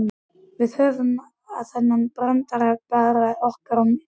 Við höfum þennan brandara bara okkar í milli.